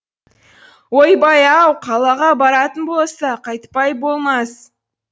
ойбай ау қалаға баратын болса қайтпай болмас